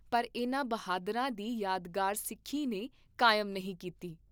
ਪਰ ਇਨ੍ਹਾਂ ਬਹਾਦਰਾਂ ਦੀ ਯਾਦਗਾਰ ਸਿੱਖੀ ਨੇ ਕਾਇਮ ਨਹੀਂ ਕੀਤੀ।